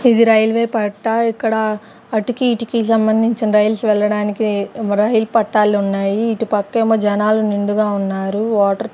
ఇది రైల్వే పట్ట ఇక్కడ అటికి ఇటుకి సంబంధించిన రైల్స్ వెళ్ళడానికి రైల్ పట్టాలు ఉన్నాయి ఇటు పక్క ఏమో జనాలు నిండుగా ఉన్నారు వాటర్ .